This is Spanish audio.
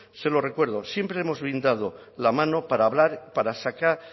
se lo recuerdo siempre hemos brindado la mano para hablar para sacar